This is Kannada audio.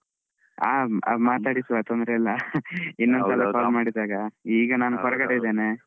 ಮಾತಾಡಿಸುವತೊಂದ್ರೆ ಎಲ್ಲ ಇನ್ನೊಂದ್ಸಲ call ಮಾಡಿದಾಗ ಈಗ ನಾನು ಹೊರಗಡೆ ಇದ್ದೇನೆ.